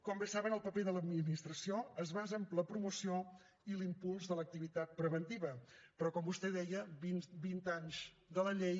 com bé saben el paper de l’administració es basa en la promoció i l’impuls de l’activitat preventiva però com vostè deia vint anys de la llei